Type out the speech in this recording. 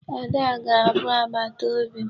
Ada ga-abụ agbataobi m.